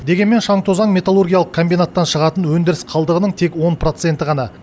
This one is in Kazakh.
дегенмен шаң тозаң металлургиялық комбинаттан шығатын өндіріс қалдығының тек он проценті ғана